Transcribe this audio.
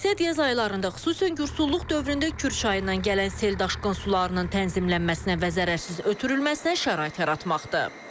Məqsəd yay ayalarında xüsusən qursulluq dövründə Kür çayından gələn sel daşqın sularının tənzimlənməsinə və zərərsiz ötürülməsinə şərait yaratmaqdır.